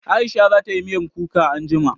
Aisha za tayi miyar kuka anjima